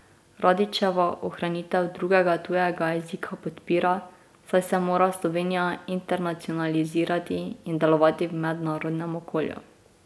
Radićeva ohranitev drugega tujega jezika podpira, saj se mora Slovenija internacionalizirati in delovati v mednarodnem okolju.